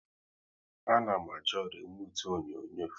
A na m achọ remute onyonyo